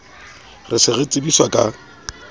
re se re tsebiswa ka